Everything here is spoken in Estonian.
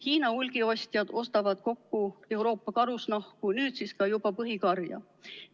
Hiina hulgiostjad ostavad kokku Euroopa karusnahku, nüüd siis ka juba põhikarja.